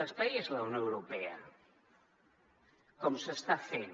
l’espai és la unió europea com s’està fent